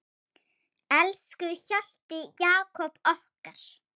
Elsku Hjalti Jakob okkar.